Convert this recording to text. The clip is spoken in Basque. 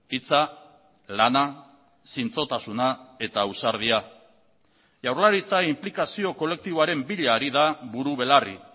hitza lana zintzotasuna eta ausardia jaurlaritza inplikazio kolektiboaren bila ari da buru belarri